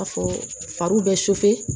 A fɔ fari bɛ